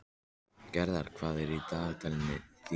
Gerðar, hvað er í dagatalinu mínu í dag?